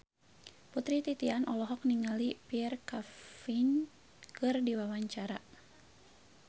Putri Titian olohok ningali Pierre Coffin keur diwawancara